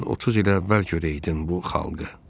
Sən 30 il əvvəl görəydin bu xalqı.